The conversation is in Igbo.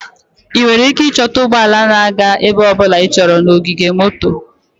Ị nwere ike ịchọta ụgbọ ala na-aga ebe ọ bụla ịchọrọ na ogige moto.